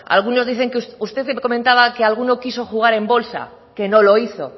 algunos dicen que usted comentaba que alguno quiso jugar en bolsa que no lo hizo